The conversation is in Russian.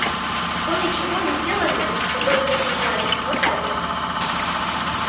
то ничегонеделание которым вы занимаетесь фатально